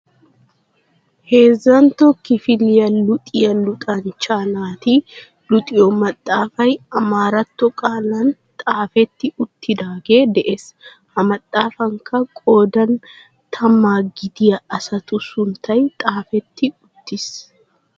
Heezzantto kifiliyaa luxxiyaa luxxanchcha naati luxxiyoo maxaafay amaaratto qaalan xaafetti uttidaage de'ees. ha maxaafankka qoodan tammaagidiyaa asatu sunttay xaafetti uttiis.